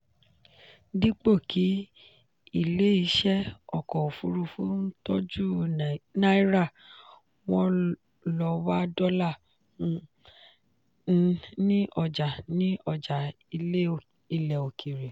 dípò kí ilé iṣẹ́ ọkọ̀ òfuurufú ń tọ́jú náírà wọ́n lọ wá dọ́là um ní ọjà ní ọjà ilẹ̀ òkèèrè.